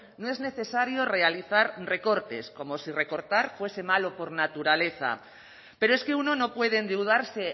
no es necesario realizar recortes como si recortar fuese malo por naturaleza pero es que uno no puede endeudarse